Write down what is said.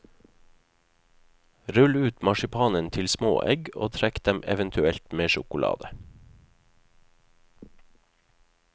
Rull ut marsipanen til små egg og trekk dem eventuelt med sjokolade.